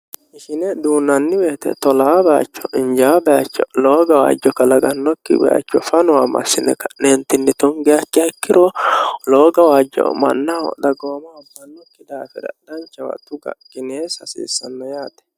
Ishine duunnani woyiite tolaa bayiicho, injawoo bayiicho lowo gawajjo kalaqanokki bayiicho fanowa massine ka'ne tungiha ikkiro lowo gawajjo mannaho dagoomaho iilishano daafira danchawa tuga qineessa hasiissano yaate.